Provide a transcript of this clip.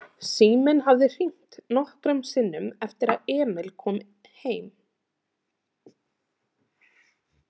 Síminn hafði hringt nokkrum sinnum eftir að Emil kom heim.